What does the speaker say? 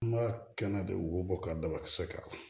Kuma kɛnɛ de wo bɔ ka dabakisɛ k'a la